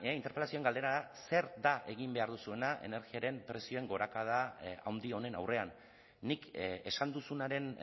interpelazioaren galdera da zer da egin behar duzuena energiaren prezioen gorakada handi honen aurrean nik esan duzunaren